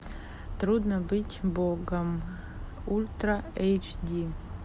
трудно быть богом ультра эйч ди